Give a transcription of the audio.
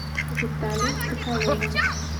виталю соколова